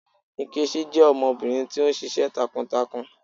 Nkechi jẹ ọmọbirin ti o ṣiṣẹ takuntakun